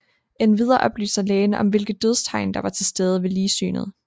Endvidere oplyser lægen om hvilke dødstegn der var tilstede ved ligsynet